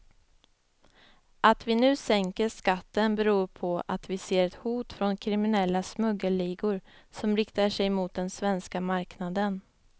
Att vi nu sänker skatten beror på att vi ser ett hot från kriminella smuggelligor som riktar sig mot den svenska marknaden.